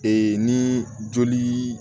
Ee ni joli